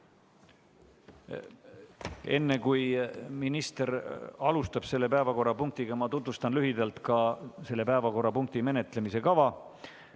Enne, kui minister alustab selle päevakorrapunktiga, tutvustan lühidalt selle päevakorrapunkti menetlemise kava.